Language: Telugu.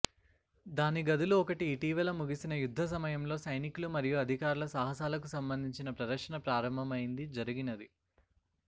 దాని గదులు ఒకటి ఇటీవల ముగిసిన యుద్ధ సమయంలో సైనికులు మరియు అధికారులు సాహసాలకు సంబంధించిన ప్రదర్శన ప్రారంభమైంది జరిగినది